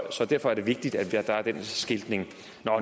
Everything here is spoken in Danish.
så derfor er det vigtigt at der er den skiltning